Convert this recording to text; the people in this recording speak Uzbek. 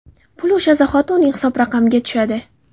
Pul o‘sha zahoti uning hisob raqamiga tushadi.